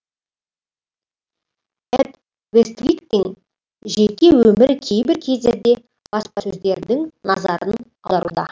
эд вествиктің жеке өмірі кейбір кездерде баспасөздердің назарын алуда